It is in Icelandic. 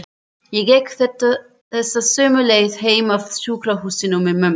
Ég gekk þessa sömu leið heim af sjúkrahúsinu með mömmu.